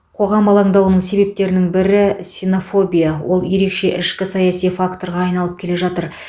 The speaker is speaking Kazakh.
қоғам алаңдауының себептерінің бірі синофобия ол ерекше ішкі саяси факторға айналып келе жатыр